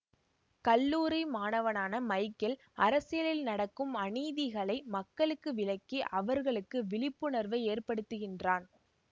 கல்லூரி மாணவனான மைக்கேல் அரசியலில் நடக்கும் அநீதிகளை மக்களுக்கு விளக்கி அவர்களுக்கு விழிப்புணர்வை ஏற்படுத்துகின்றான்